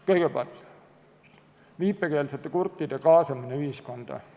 Kõigepealt, viipekeelsete kurtide kaasamine ühiskonda.